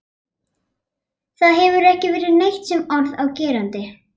Það hefur ekki verið neitt sem orð er á gerandi.